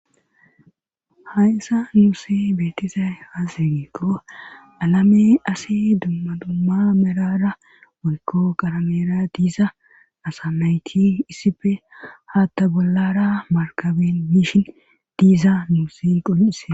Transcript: Hayssa nuuse beetizay haaseri qo alame asi dumma dumma merara wolko qarameera diiza asa nayti issife haatta bollara markaben mishin diiza nuuse qol'ise.